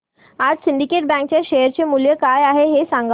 आज सिंडीकेट बँक च्या शेअर चे मूल्य काय आहे हे सांगा